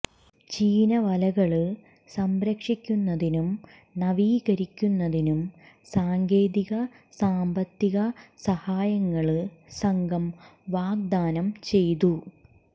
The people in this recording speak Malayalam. ചീനവലകള് സംരക്ഷിക്കുന്നതിനും നവീകരിക്കുന്നതിനും സാങ്കേതിക സാമ്പത്തിക സഹായങ്ങള് സംഘം വാഗ്ദാനം ചെയ്തു